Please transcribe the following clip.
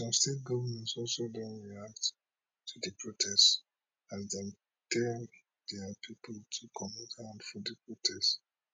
some state govnors also don react to di protest as dem tell dia pipo to comot hand for di protest